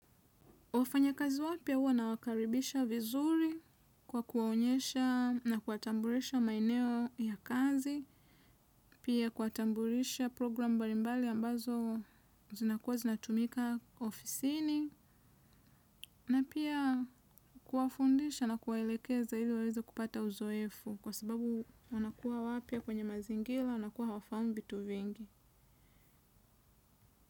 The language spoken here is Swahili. Wafanya kazi wapya huwa na wakaribisha vizuri kwa kuwaonyesha na kuwatambulisha maeneo ya kazi, pia kuwatambulisha program mbalimbali ambazo zinakuwa zinatumika ofisini, na pia kuwafundisha na kuwaelekeza iliwaweze kupata uzoefu kwa sababu wanakuwa wapya kwenye mazingira, wanakuwa hawafahamu vitu vingi.